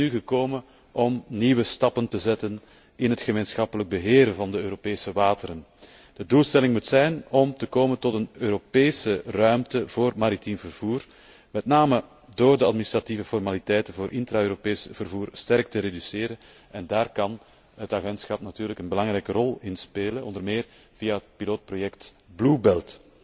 De tijd is nu gekomen om nieuwe stappen te zetten in het gemeenschappelijk beheer van de Europese wateren. De doelstelling moet zijn om te komen tot een Europese ruimte voor maritiem vervoer, met name door de administratieve formaliteiten voor intra Europees vervoer sterk te reduceren en daar kan het agentschap natuurlijk een belangrijke rol bij spelen, onder meer via het proefproject Blue Belt.